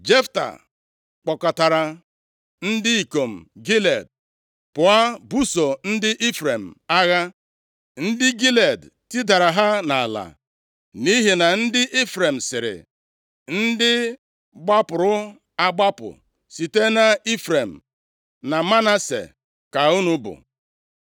Jefta kpọkọtara ndị ikom Gilead pụọ buso ndị Ifrem agha. Ndị Gilead tidara ha nʼala nʼihi na ndị Ifrem sịrị, “Ndị gbapụrụ agbapụ site nʼIfrem na Manase ka unu bụ.”